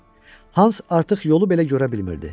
Hans artıq yolu belə görə bilmirdi.